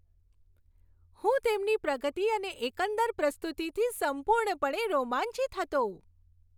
હું તેમની પ્રગતિ અને એકંદર પ્રસ્તુતિથી સંપૂર્ણપણે રોમાંચિત હતો.